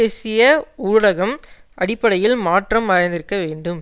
தேசிய ஊடகம் அடிப்படையில் மாற்றம் அடைந்திருக்கவேண்டும்